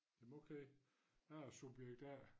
Jamen okay jeg er subjekt A